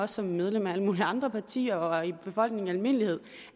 som medlem af alle mulige andre partier og i befolkningen i almindelighed